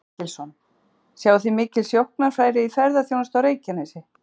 Páll Ketilsson: Sjáið þið mikil sóknarfæri í ferðaþjónustu á Reykjanesi?